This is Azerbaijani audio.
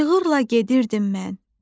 Cığırla gedirdim mən.